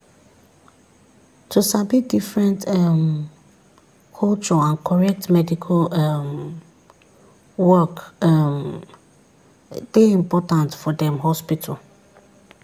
to sabi different um culture and correct medical um work um dey important for dem hospital.